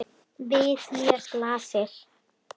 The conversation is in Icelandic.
Við mér blasir.